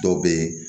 Dɔw bɛ yen